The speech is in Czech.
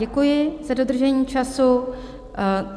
Děkuji za dodržení času.